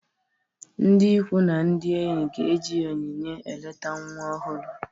Ndị ikwu na ndị enyi ga-eji onyinye eleta nwa ọhụrụ